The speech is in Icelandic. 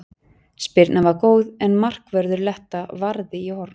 Spyrnan var góð en markvörður Letta varði í horn.